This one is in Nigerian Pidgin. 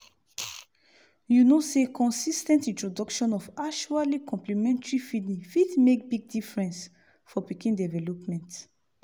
u no say consis ten t introduction of actually complementary feeding fit make big difference for pikin development